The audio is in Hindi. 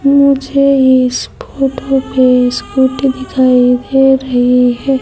मुझे इस फोटो पर स्कूटी दिखाई दे रही है।